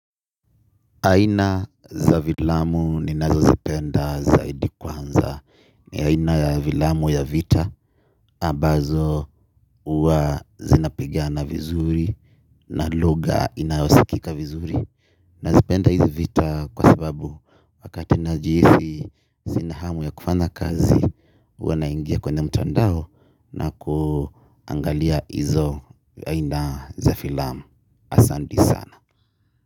Aina za vilamu ninazo zipenda zaidi kwanza. Ni aina ya vilamu ya vita. Abazo uwa zinapigana vizuri. Na lugha inayosikika vizuri nazipenda hizi vita kwa sababu wakati najisihi sina hamu ya kufanya kazi. Uwa naingia kwenye mtandao. Na kuangalia hizo aina za vilamu asandi sana.